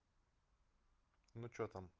ну что там